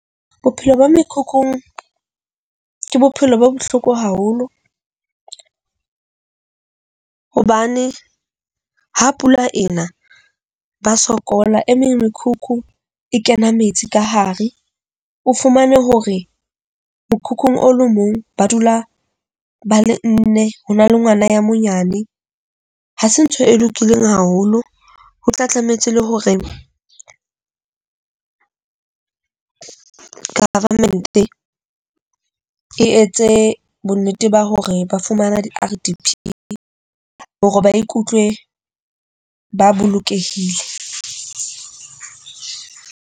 Bophelo ba mekhukhung ke bophelo bo bohloko haholo, hobane ha pula e na ba sokola. E meng mekhukhu e kena metsi ka hare, o fumane hore mokhukhung o lo mong ba dula ba le nne. Ho na le ngwana ya monyane, ha se ntho e lokileng haholo ho tla tlamehetse le hore government-e etse bonnete ba hore ba fumana di-RDP hore ba ikutlwe ba bolokehile.